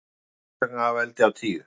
En hvers vegna veldi af tíu?